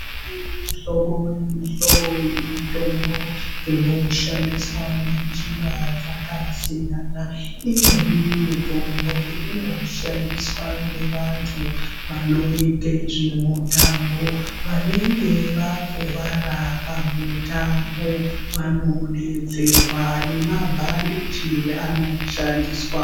Kune mihlobo nemihlobo yemitombo inoshandiswa ngenjira dzakasiyana. Imweni mitombo inoshandiswa ngevantu vanoite zvemutambo. Vanenge vakuwara pamutambo vanodetserwa nemabhandiji anoshandiswa.